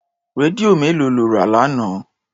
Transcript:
Rédíò mélòó lọ rà lánàá?